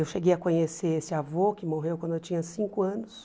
Eu cheguei a conhecer esse avô, que morreu quando eu tinha cinco anos,